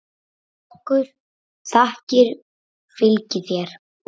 Frá okkur þakkir fylgi þér.